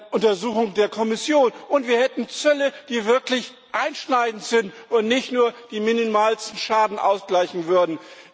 Untersuchung der Kommission, und wir hätten Zölle, die wirklich einschneidend sind und nicht nur den minimalsten Schaden ausgleichen würden.